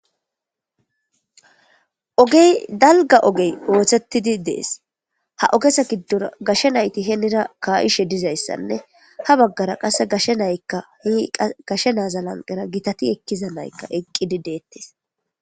Ogey dalga ogey ooththettidi dees ha ogesa giddora gashe nayti heenira kaa7ishe dizayssanne ha baggara qasse gashe naykka hi qagashe naaza lanqera gitati ekkiza naykka eqqidi deettes.